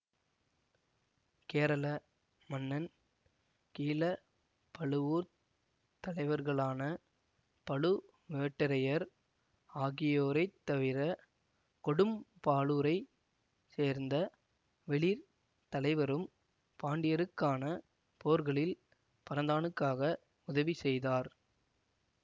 கேரள மன்னன் கீழப்பழுவூர்த் தலைவர்களான பழுவேட்டரையர் ஆகியோரைத்தவிர கொடும்பாளூரைச் சேர்ந்த வெளிர் தலைவரும் பாண்டியருக்கான போர்களில் பரந்தானுக்காக உதவி செய்தார்